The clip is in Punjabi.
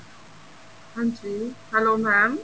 ਹਾਂਜੀ hello mam